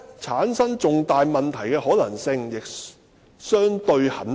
產生重大問題的可能性亦相對很低。